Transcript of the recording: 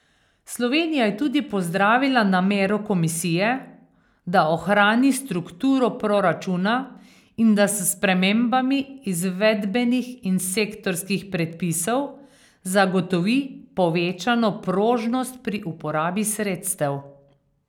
Slovenija je tudi pozdravila namero komisije, da ohrani strukturo proračuna in da s spremembami izvedbenih in sektorskih predpisov zagotovi povečano prožnost pri uporabi sredstev.